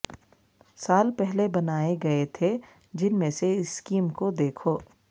سال پہلے بنائے گئے تھے جن میں سے اسکیم کو دیکھو